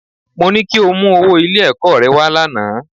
Mo ní kí o mú owó Ilé-ẹ̀kọ́ rẹ wá lánàá